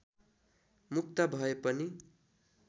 मुक्त भए पनि